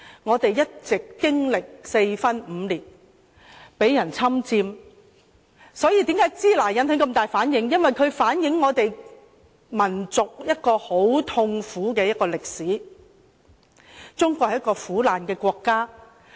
中國一直經歷四分五裂，被人侵佔，所以為甚麼說"支那"會引起那麼大的反應，因為這詞語反映了我們民族一段很痛苦的歷史，令人想起中國是一個很苦難的國家。